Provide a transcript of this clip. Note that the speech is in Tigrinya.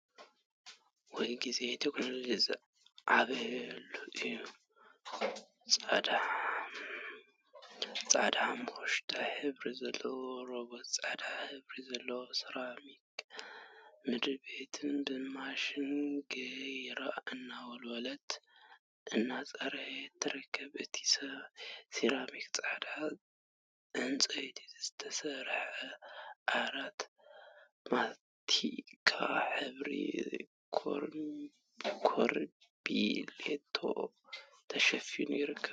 ወይ ግዜ! ቴክኖሎጂ ዝዓበየሉ እዩ፡፡ ፃዕዳን ሓመኩሽታይ ሕብሪ ዘለዋ ሮበት ፃዕዳ ሕብሪ ዘለዎ ሰራሚክ /ምድሪ ቤት ብማሽን ገይራ እናወልወለት/እናፅረየት ትርከብ፡፡ አብቲ ሰራሚክ ፃዕዳ ዕንፀይቲ ዝተሰርሐ ዓራት ማስቲካ ሕብሪ ከርቢሌቶ ተሸፊኑ ይርከብ፡፡